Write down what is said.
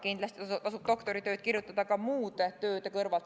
Kindlasti tasub doktoritööd kirjutada ka muude tööde kõrvalt.